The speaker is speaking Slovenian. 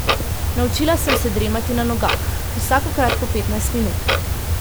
Naučila sem se dremati na nogah, vsakokrat po petnajst minut.